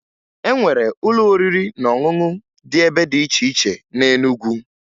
E nwere ụlọ oriri na ọṅụṅụ dị ebe dị iche iche na Enugwu